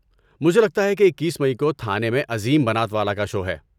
مجھے لگتا ہے کہ اکیس مئی کو تھانے میں عظیم بنات والا کا شو ہے